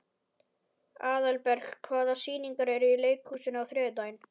Aðalberg, hvaða sýningar eru í leikhúsinu á þriðjudaginn?